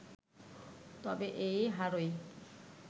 তবে এই হারই